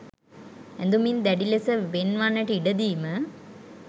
ඇඳුමින් දැඩි ලෙස වෙන් වන්නට ඉඩ දීම